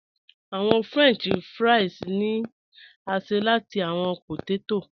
Awọn french fries ni a ṣe lati awọn pótètó.